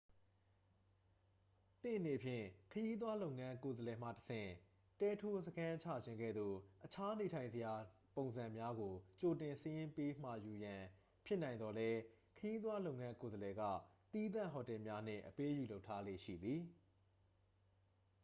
သင့်အနေဖြင့် ခရီးသွားလုပ်ငန်း ကိုယ်စားလှယ်မှတဆင့် တဲထိုးစခန်းချခြင်းကဲ့သို့ အခြားနေထိုင်စရာနေရာ ပုံစံများကို ကြိုတင်စာရင်းပေးမှာယူရန် ဖြစ်နိုင်သော်လည်း ခရီးသွားလုပ်ငန်း ကိုယ်စားလှယ်က သီးသန့်ဟိုတယ်များနှင့် အပေးအယူလုပ်ထားလေ့ရှိသည်